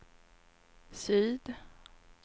syd